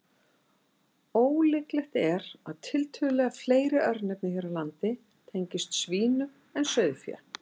Ólíklegt er að tiltölulega fleiri örnefni hér á landi tengist svínum en sauðfé.